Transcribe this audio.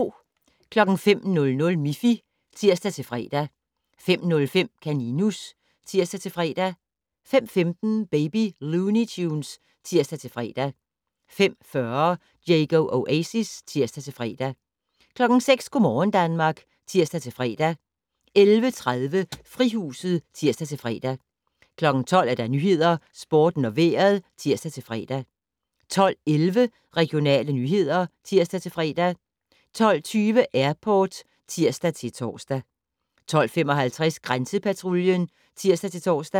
05:00: Miffy (tir-fre) 05:05: Kaninus (tir-fre) 05:15: Baby Looney Tunes (tir-fre) 05:40: Diego Oasis (tir-fre) 06:00: Go' morgen Danmark (tir-fre) 11:30: Frihuset (tir-fre) 12:00: Nyhederne, Sporten og Vejret (tir-fre) 12:11: Regionale nyheder (tir-fre) 12:20: Airport (tir-tor) 12:55: Grænsepatruljen (tir-tor)